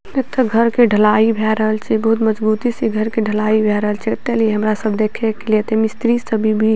एते घर के ढलाई भे रहल छे बहुत मजबूती से घर के ढलाई भे रहल छे एते ली हमरा सब देखे के लिए मिस्त्री सभी भी --